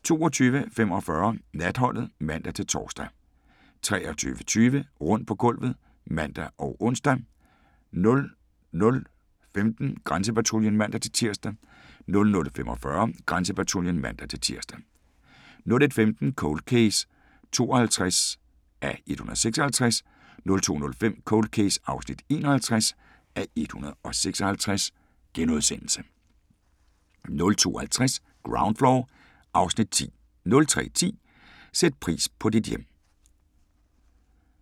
22:45: Natholdet (man-tor) 23:20: Rundt på gulvet (man og ons) 00:15: Grænsepatruljen (man-tir) 00:45: Grænsepatruljen (man-tir) 01:15: Cold Case (52:156) 02:05: Cold Case (51:156)* 02:50: Ground Floor (Afs. 10) 03:10: Sæt pris på dit hjem